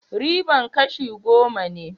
Ribar kashi goma ne